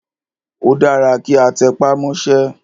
Ó dára kí a tẹpá mọ́sẹ́.